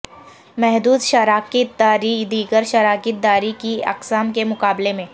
محدود شراکت داری دیگر شراکت داری کی اقسام کے مقابلے میں